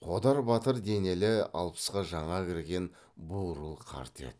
қодар батыр денелі алпысқа жаңа кірген бурыл қарт еді